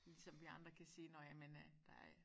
Ligesom vi andre kan sige nå ja men øh der er